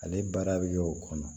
Ale baara bɛ kɛ o kɔnɔ